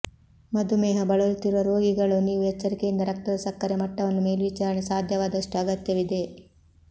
ಮಧುಮೇಹ ಬಳಲುತ್ತಿರುವ ರೋಗಿಗಳು ನೀವು ಎಚ್ಚರಿಕೆಯಿಂದ ರಕ್ತದ ಸಕ್ಕರೆ ಮಟ್ಟವನ್ನು ಮೇಲ್ವಿಚಾರಣೆ ಸಾಧ್ಯವಾದಷ್ಟು ಅಗತ್ಯವಿದೆ